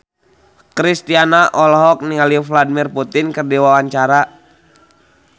Kristina olohok ningali Vladimir Putin keur diwawancara